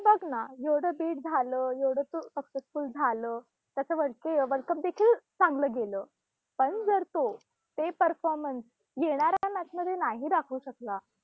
बघ ना. एवढं bid झालं, एवढं तो successful झालं, त्याच्यावरती world cup देखील चांगल गेलं. पण जर तो, ते performance येणाऱ्या match मध्ये नाही दाखवू शकला